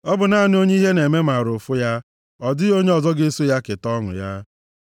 Ọ bụ naanị onye ihe na-eme maara ụfụ ya, ọ dịghị onye ọzọ ga-eso keta ọṅụ ya.